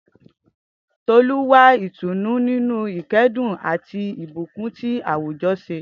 Tolu wá ìtùnú nínú ìkẹ́dùn àti ìbùkún tí àwùjọ ṣe